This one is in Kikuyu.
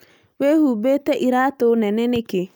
Wihũmbĩte iraatũ nene nĩkĩ?